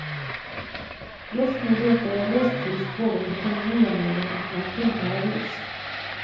Just nu letar jag lusthus både på koloniområden och bland finare hus.